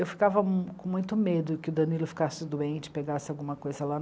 Eu ficava com muito medo que o Danilo ficasse doente, pegasse alguma coisa lá.